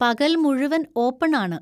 പകൽ മുഴുവൻ ഓപ്പൺ ആണ്.